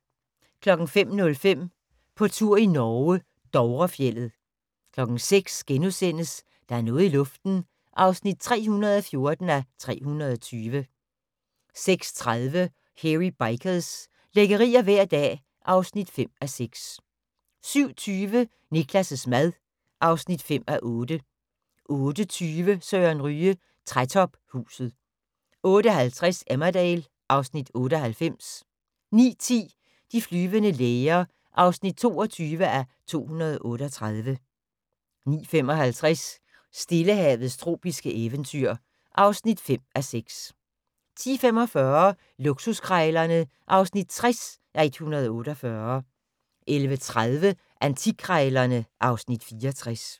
05:05: På tur i Norge: Dovrefjeldet 06:00: Der er noget i luften (314:320)* 06:30: Hairy Bikers – lækkerier hver dag (5:6) 07:20: Niklas' mad (5:8) 08:20: Søren Ryge: Trætophuset 08:50: Emmerdale (Afs. 98) 09:10: De flyvende læger (22:238) 09:55: Stillehavets tropiske eventyr (5:6) 10:45: Luksuskrejlerne (60:148) 11:30: Antikkrejlerne (Afs. 64)